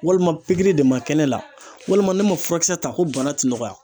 Walima de ma kɛ ne la walima ne ma furakisɛ ta ko bana ti nɔgɔya.